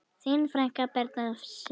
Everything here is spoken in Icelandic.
Þín frænka, Birna Sif.